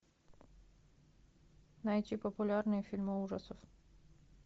найти популярные фильмы ужасов